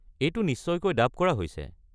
এইটো নিশ্চয়কৈ ডাব কৰা হৈছে।